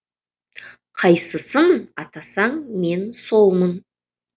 қайсысын атасаң мен солмын